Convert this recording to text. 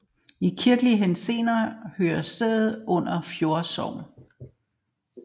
I kirkelig henseende hører stedet under Fjolde Sogn